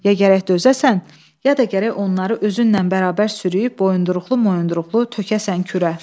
Ya gərək dözəsən, ya da gərək onları özünlə bərabər sürüb boyunduruqlu-moyunduruqlu tökəsən kürə.